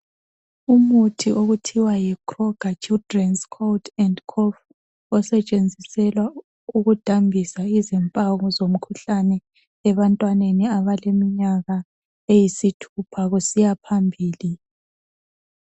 Umuthi okuthiwa yikroger Children’s cold and cough osetshenziselwa ukudambisa izimpawu zomkhuhlane ebantwaneni abaleminyaka eyisithupha kusiya phambili.